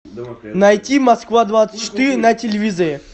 найти москва двадцать четыре на телевизоре